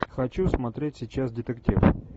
хочу смотреть сейчас детектив